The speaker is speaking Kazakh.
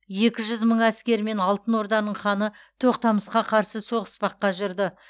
екі жүз мың әскермен алтын орданың ханы тоқтамысқа қарсы соғыспаққа жүрді